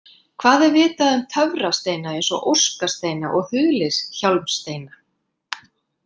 Hvað er vitað um töfrasteina eins og óskasteina og huliðshjálmssteina?